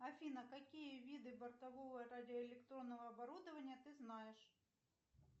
афина какие виды бортового радиоэлектронного оборудования ты знаешь